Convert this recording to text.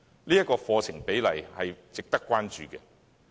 這個課程比例，值得關注。